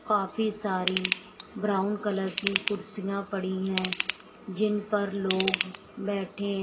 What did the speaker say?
काफी सारी brown colour की कुर्सियां पड़ी है जिन पर लोग बैठे हैं।